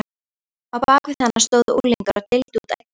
Á bak við hana stóðu unglingar og deildu út eggjum.